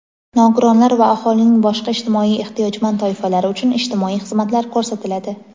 nogironlar va aholining boshqa ijtimoiy ehtiyojmand toifalari uchun ijtimoiy xizmatlar ko‘rsatiladi.